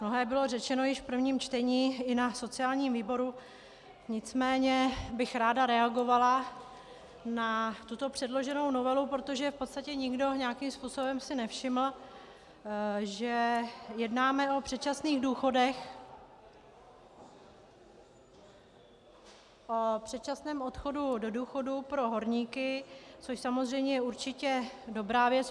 Mnohé bylo řečeno již v prvním čtení i na sociálním výboru, nicméně bych ráda reagovala na tuto předloženou novelu, protože v podstatě nikdo nějakým způsobem si nevšiml, že jednáme o předčasných důchodech, o předčasném odchodu do důchodu pro horníky, což samozřejmě je určitě dobrá věc.